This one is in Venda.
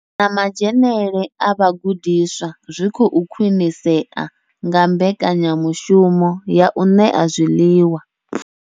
Na madzhenele a vhagudiswa zwi khou khwinisea nga mbekanya mushumo ya u ṋea zwiḽiwa.